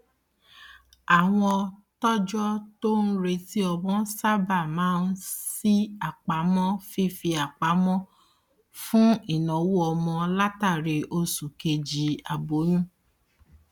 àwọn tọjọ tó ń retí ọmọ sábà máa ń ṣí àpamọ fífipamọ fún ináwó ọmọ látàrí oṣù kejì aboyún